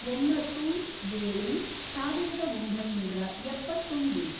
ಒಂಬತ್ತು, ಏಳು, ಸಾವಿರದ ಒಂಬೈನೂರ ಎಪ್ಪತ್ತೊಂದು